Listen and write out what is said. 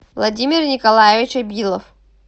владимир николаевич абилов